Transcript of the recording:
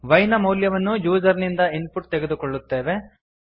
y ನ ಮೌಲ್ಯವನ್ನು user ಇಂದ ಇನ್ಪುಟ್ ತೆಗೆದುಕೊಳ್ಳುತ್ತೇವೆ